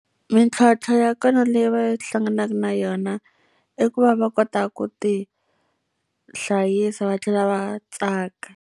Mintlhontlho ya kona leyi va hlanganaka na yona, i ku va va kota ku tihlayisa va tlhela va tsaka.